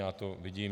Já to vidím.